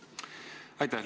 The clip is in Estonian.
Aitäh!